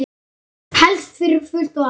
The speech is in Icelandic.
Helst fyrir fullt og allt.